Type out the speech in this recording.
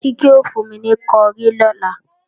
Kíkẹ́ ò fún mi ní kọrí lọ́la